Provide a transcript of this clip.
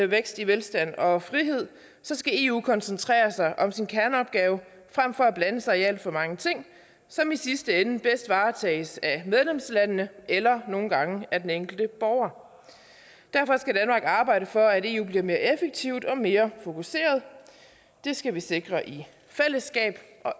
vækst i velstand og frihed skal eu koncentrere sig om sin kerneopgave frem for at blande sig i alt for mange ting som i sidste ende bedst varetages af medlemslandene eller nogle gange af den enkelte borger derfor skal danmark arbejde for at eu bliver mere effektivt og mere fokuseret det skal vi sikre i fællesskab og